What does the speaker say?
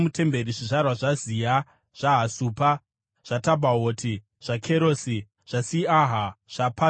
zvizvarwa zvaZiha, zvaHasupa, zvaTabhaoti, zvaKerosi, zvaSiaha, zvaPadhoni,